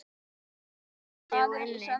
Nú sýsla ég úti og inni.